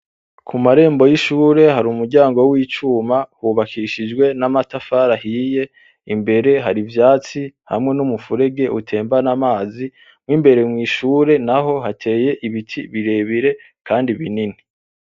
Ku marembo y'ishure hari umuryango w'icuma hubakishijwe n'amatafari ahiye imbere hari ivyatsi hamwe n'umufurege utembana amazi n'imbere mw'ishure naho hateye ibiti birebire kandi binini.